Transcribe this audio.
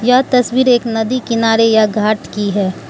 यह तस्वीर एक नदी किनारे या घाट की है।